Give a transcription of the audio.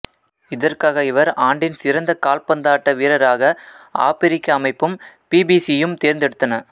இதற்காக இவர் ஆண்டின் சிறந்த கால்பந்தாட்ட வீரராக ஆபிரிக்க அமைப்பும் பிபிசியும் தேர்ந்தெடுத்தன